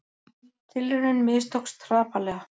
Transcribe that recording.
Tilraunin mistókst hrapalega